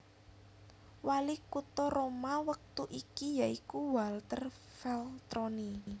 Wali kutha Roma wektu iki ya iku Walter Veltroni